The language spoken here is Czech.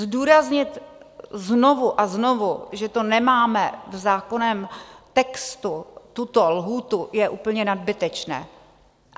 Zdůraznit znovu a znovu, že to nemáme v zákonném textu, tuto lhůtu, je úplně nadbytečné.